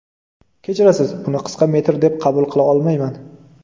Kechirasiz, buni qisqa metr deb qabul qila olmayman.